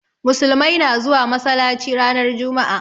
Musulmai na zuwa masalaci ranar juma'a.